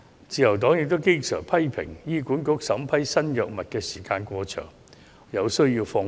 自由黨經常批評醫管局審批新藥物時間過長，有需要放寬。